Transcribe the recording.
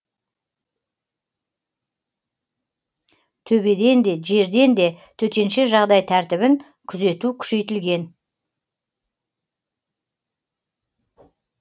төбеден де жерден де төтенше жағдай тәртібін күзету күшейтілген